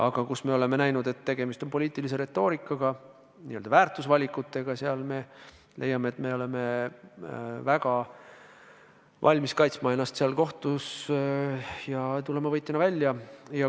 Aga kui me oleme näinud, et tegemist on poliitilise retoorikaga, n-ö väärtusvalikutega, siis me oleme väga valmis kaitsma ennast kohtus ja võitjana välja tulema.